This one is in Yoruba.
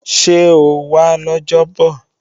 Ṣé ó wá lọ́jọ́bọ̀?